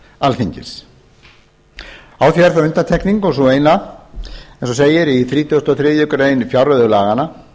alþingis á því er þó undantekning og sú eina eins og segir í þrítugasta og þriðju grein fjárreiðulaganna